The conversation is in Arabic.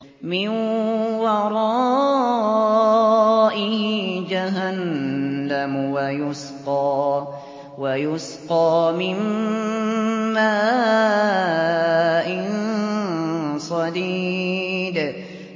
مِّن وَرَائِهِ جَهَنَّمُ وَيُسْقَىٰ مِن مَّاءٍ صَدِيدٍ